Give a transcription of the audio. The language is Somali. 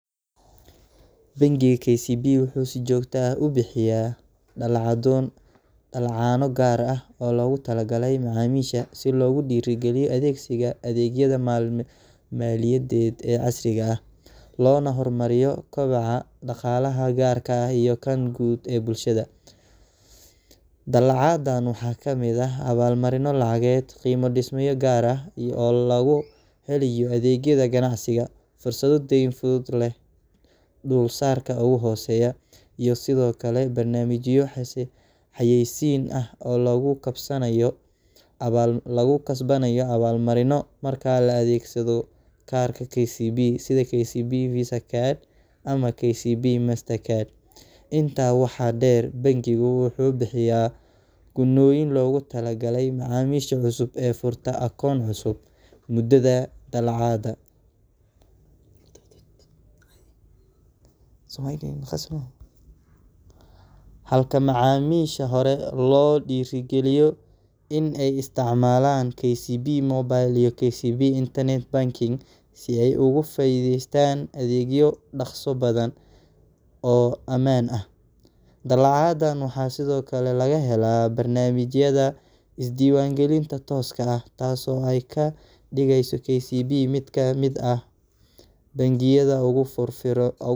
Bangiga KCB wuxuu si joogto ah u bixiyaa dallacaano gaar ah oo loogu talagalay macaamiishiisa si loo dhiirrigeliyo adeegsiga adeegyada maaliyadeed ee casriga ah, loona horumariyo kobaca dhaqaalaha gaarka ah iyo kan guud ee bulshada. Dallacaadahan waxaa ka mid ah abaalmarino lacageed, qiimo-dhimisyo gaar ah oo lagu helo adeegyada ganacsiga, fursado deyn fudud oo leh dulsaarka ugu hooseeya, iyo sidoo kale barnaamijyo xayeysiin ah oo lagu kasbanayo abaalmarinno marka la adeegsado kaararka KCB sida KCB Visa Card ama KCB MasterCard. Intaa waxaa dheer, bangigu wuxuu bixiyaa gunnooyin loogu talagalay macaamiisha cusub ee furta akoon cusub muddada dallacaadda, halka macaamiisha hore loo dhiirrigeliyo in ay isticmaalaan KCB Mobile iyo KCB Internet Banking si ay uga faa’iideystaan adeegyo dhakhso badan oo ammaan ah. Dallacaadahan waxaa sidoo kale laga helaa barnaamijyada isdiiwaangelinta tooska ah, taas oo ka dhigaysa KCB mid ka mid ah bangiyada ugu firfircoon.